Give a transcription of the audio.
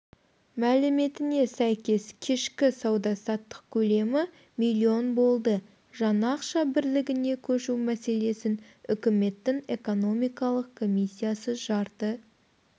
мәліметіне сәйкес кешкі сауда-саттық көлемі миллион болды жаңа ақша бірлігіне көшу мәселесін үкіметтің экономикалық комиссиясы жарты